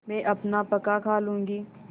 मैं अपना पकाखा लूँगी